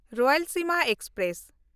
Rayalaseema express